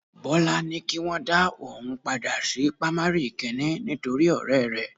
Bọ́lá ní kí wọn dá òun padà sí pamari kìíní nítorí ọrẹ rẹ